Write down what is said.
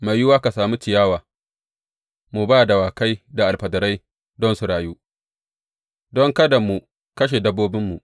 Mai yiwuwa ka sami ciyawa mu ba dawakai da alfadarai don su rayu, don kada mu kashe dabbobinmu.